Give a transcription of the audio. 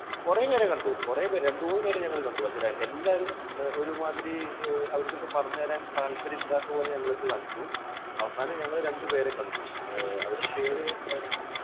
കുറേ പേരെ കണ്ടു. കുറേ പേരെ, രണ്ടുമൂന്നു പേരെ ഞങ്ങൾ കണ്ടു. പക്ഷേ എല്ലാവരും ഒരുമാതിരി അവർക്ക് എന്തോ പറഞ്ഞു തരാൻ താല്പര്യമില്ലാത്തത് പോലെ ഞങ്ങളുടെ അടുത്ത് കാണിച്ചു. അവസാനം ഞങ്ങൾ രണ്ടു പേരെ കണ്ടു. അവരുടെ പേര് എന്തായിരുന്നു?